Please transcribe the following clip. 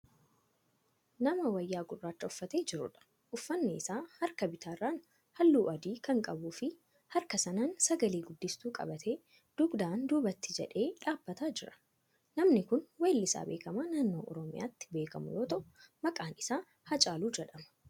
Nama wayyaa gurraacha uffatee jiruudha. uffanni Isaa harka bitaarraan halluu adii Kan qabuufi harka sanaan sagalee guddistuu qabatee dugdaan duubaatti jedhee dhaabataan jira. namni Kuni weellisaa beekamaa naannoo oromiyaatti beekamu yoo ta'u maqaan Isaa Haacaaluu jedhama.